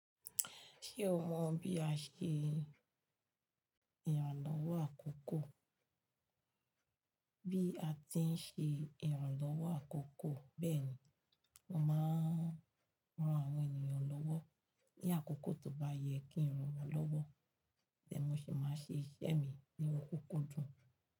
Ṣé o mọ bí a ṣe ìrànlọ́wọ́ àkọ́kọ́? Bí a ti ń ṣe ìrànlọ́wọ́ àkọ́kọ́ bẹ́ẹ̀ ni, mo máa ń ran àwọn ènìyàn lọ́wọ́ ní àkókò tó bá yẹ kí n ran wọn lọ́wọ́, tẹ́mo sì máa ń ṣe iṣẹ́ mi níwọn kúkúndùn.